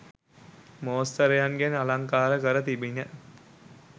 මෝස්තරයන්ගෙන් අලංකාර කර තිබිණි.